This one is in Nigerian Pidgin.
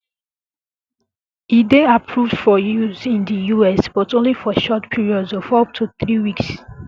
e dey approved for use in di us but only for short periods of up to three weeks